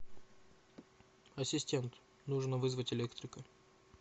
ассистент нужно вызвать электрика